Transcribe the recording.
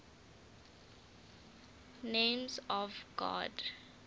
names of god